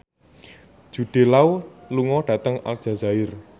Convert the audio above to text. Jude Law lunga dhateng Aljazair